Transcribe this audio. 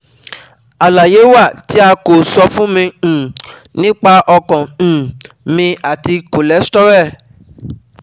Alaye wa ti a ko sọ fun mi um nipa ọkan um mi ati cholesterol